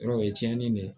Yɔrɔ o ye tiɲɛni de ye